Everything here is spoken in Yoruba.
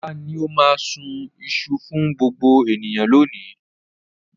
Ọlá ni ó máa sun iṣu fún gbogbo ènìyàn lónìí.